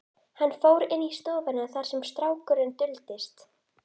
Hann fór inn í stofuna þar sem snákurinn duldist.